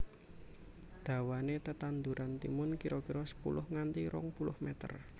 Dawané tetanduran timun kira kira sepuluh nganti rong puluh meter